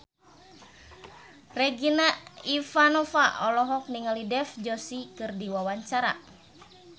Regina Ivanova olohok ningali Dev Joshi keur diwawancara